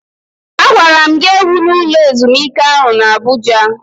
Agwara m gi ewula ụlọ ezumike ahu na Abụja!